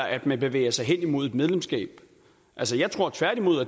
at man bevæger sig hen imod et medlemskab